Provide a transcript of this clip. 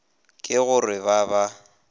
ke go re ba ba